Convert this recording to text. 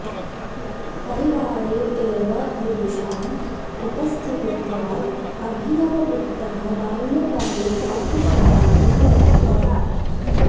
परिवारे एव विदुषाम् उपस्थितित्वाद् अभिनवगुप्तः बाल्यकाले पाठशालां न गतवान्